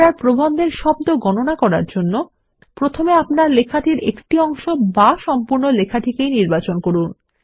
আপনার প্রবন্ধের একটি শব্দ গণনা বজায় রাখার জন্য প্রথমে আপনার লেখার একটি অংশ বা সম্পূর্ণ লেখাটিকেই নির্বাচন করুন